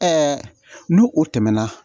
nu o tɛmɛna